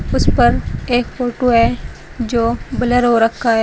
उसपर एक फोटो है जो ब्लर हो रखा है।